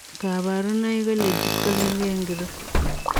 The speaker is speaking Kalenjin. Kaparunoik kolegit ko kergei ngiroo .